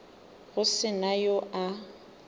go se na yo a